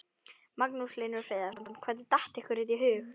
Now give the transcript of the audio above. Magnús Hlynur Hreiðarsson: Hvernig datt ykkur þetta í hug?